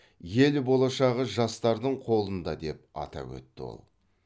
ел болашағы жастардың қолында деп атап өтті ол